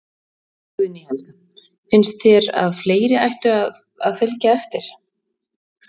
Guðný Helga: Finnst þér að fleiri ættu að, að fylgja eftir?